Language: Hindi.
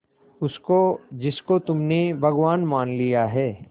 उसको जिसको तुमने भगवान मान लिया है